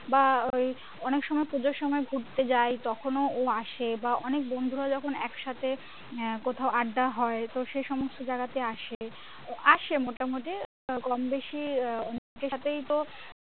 বা ওই অনেকসময় পুজোর সময় ঘুরতে যাই তখনও ও আসে বা অনেক বন্ধুরা যখন একসাথে আহ কোথাও আড্ডা হয় তো সে সমস্ত জাগা তে আসে তো আসে মোটামুটি তো কমবেশি আহ অনেকের সাথেই তো